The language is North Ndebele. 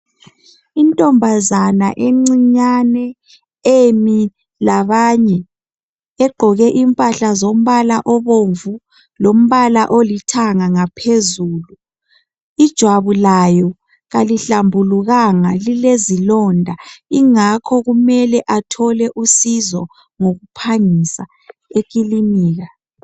Intombazanaencinyane emi labanye. Egqoke impahla zombala obomvu, lombala olithanga ngaphezulu. Ijwabu layo kalihlambulukanga, Lilezilonda. Kungakho, kumele athole usizo ngokuphangisa ekilinika,